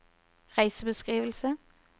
reisebeskrivelse